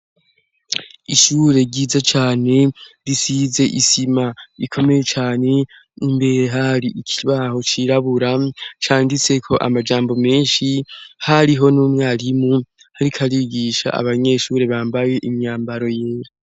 Ishure ryiza cane risize isima rikomeye cane, imbere hari ikibaho cirabura canditseko amajambo menshi hariho n'umwarimu ariko arigisha abanyeshure bambaye imyambaro yera.